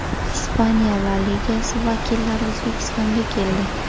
Ispaniya La Ligasi vakillari O‘zbekistonga keldi.